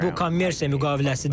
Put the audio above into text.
Bu kommersiya müqaviləsidir.